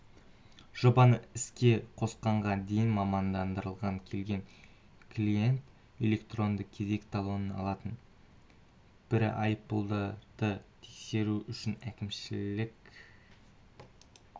жобаны іске қосқанға дейін мамандандырылған келген клиент электрондық кезек талонын алатын бірі айыппұлдарды тексеру үшін әкімшілік